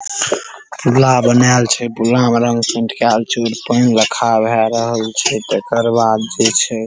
पुला बनाएल छै पुला में रंग पेंट केएल छै पैन लखा भे रहल छै तकर बाद जे छै --